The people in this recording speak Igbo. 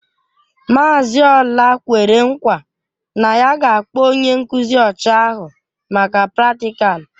Mazị Ola kwere nkwa na ya ga-akpọ onye nkuzi ọcha ahụ maka pratikalu.